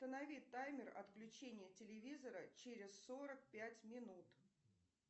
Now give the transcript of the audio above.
установи таймер отключения телевизора через сорок пять минут